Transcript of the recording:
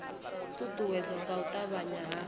uuwedzwa nga u avhanya ha